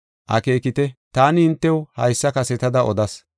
Akeekite, taani hintew haysa kasetada odas.